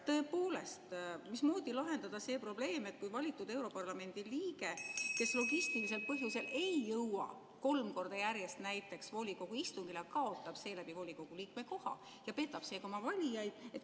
Tõepoolest, mismoodi lahendada see probleem, kui valitud europarlamendi liige, kes logistilisel põhjusel ei jõua kolm korda järjest näiteks volikogu istungile, kaotab seeläbi volikogu liikme koha ja petab sellega oma valijaid?